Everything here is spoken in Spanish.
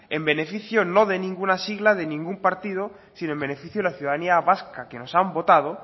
en beneficio no de ninguna sigla de ningún partido sino en beneficio de la ciudadanía vasca que nos han votado